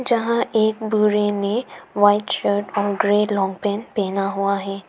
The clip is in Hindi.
जहां एक बूढ़े ने वाइट शर्ट और ग्रे लॉन्ग पैंट पहना हुआ है।